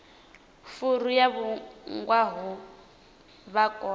furu yo vhulungwaho vha kone